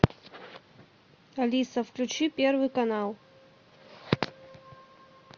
алиса включи первый канал